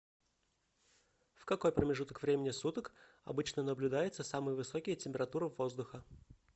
в какой промежуток времени суток обычно наблюдаются самые высокие температуры воздуха